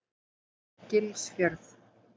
Gilsfjörð